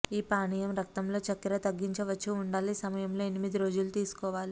ఈ పానీయం రక్తంలో చక్కెర తగ్గించవచ్చు ఉండాలి సమయంలో ఎనిమిది రోజుల తీసుకోవాలి